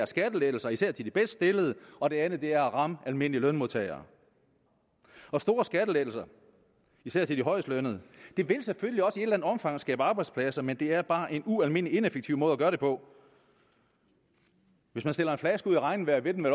skattelettelser især til de bedst stillede og det andet er at ramme almindelige lønmodtagere store skattelettelser især til de højestlønnede vil selvfølgelig også i et omfang skabe arbejdspladser men det er bare en ualmindelig ineffektiv måde at gøre det på hvis man stiller en flaske ud i regnvejr vil den